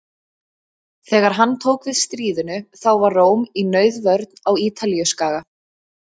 Þegar hann tók við stríðinu þá var Róm í nauðvörn á Ítalíuskaga.